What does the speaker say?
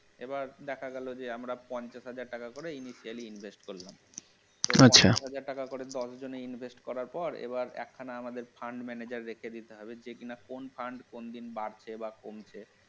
এবার দেখা গেল যে আমরা পঞ্চাশ হাজার টাকা করে daily invest করলাম আচ্ছা, পঞ্চাশ হাজার টাকা করে দশজনের invest করার পর এক খানা আমাদের fund manager রেখে দিতে হবে যে কিনা কোন fund কোন দিন বাড়ছে বা কমছে